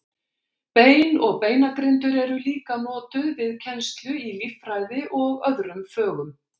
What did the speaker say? Bein og beinagrindur eru líka notuð við kennslu í líffræði og öðrum fögum.